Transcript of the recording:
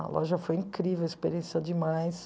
A loja foi incrível, a experiência foi demais.